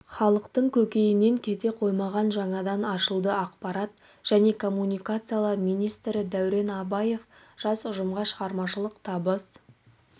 халықтың көкейінен кете қоймаған жаңадан ашылды ақпарат және коммуникациялар министрі дәурен абаев жас ұжымға шығармашылық табыс